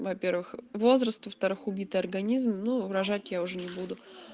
во-первых возраст во-вторых убитый организм ну рожать я уже не буду